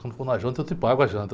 Quando for na janta, eu te pago a janta.